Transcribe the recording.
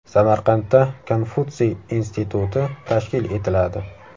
Samarqandda Konfutsiy instituti tashkil etiladi.